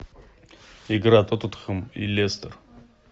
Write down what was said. игра тоттенхэм и лестер